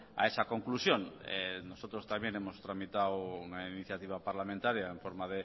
a esa conclusión nosotros también hemos tramitado una iniciativa parlamentaria en forma